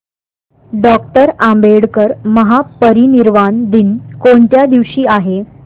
doctor Ambedkar महापरिनिर्वाण दिन कोणत्या दिवशी आहे